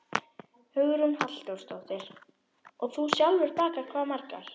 Hugrún Halldórsdóttir: Og þú sjálfur bakar hvað margar?